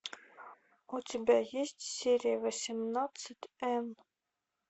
у тебя есть серия восемнадцать энн